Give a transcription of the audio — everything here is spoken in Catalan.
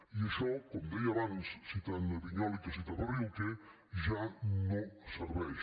i això com deia abans citant vinyoli que citava rilke ja no serveix